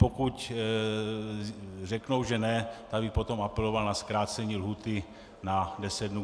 Pokud řeknou, že ne, tak bych potom apeloval na zkrácení lhůty na deset dnů.